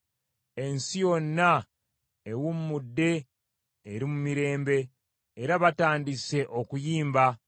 Ensi yonna ewummudde eri mu mirembe, era batandise okuyimba.